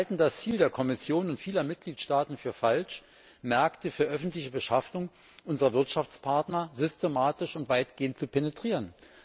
Wir halten das Ziel der Kommission und vieler Mitgliedstaaten für falsch, Märkte für öffentliche Beschaffung unserer Wirtschaftspartner systematisch und weitgehend zu penetrieren.